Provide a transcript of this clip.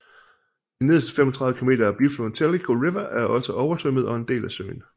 De nederste 35 km af bifloden Tellico River er også oversvømmet og en del af søen